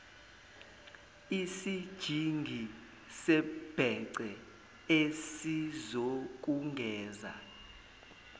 isijingi sebhece esizokugeza